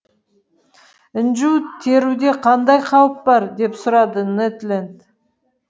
інжу теруде қандай қауіп бар деп сұрады нед ленд